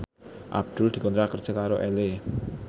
Abdul dikontrak kerja karo Elle